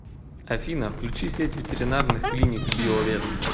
афина включи сеть ветеринарных клиник био вет